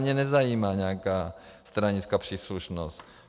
Mě nezajímá nějaká stranická příslušnost.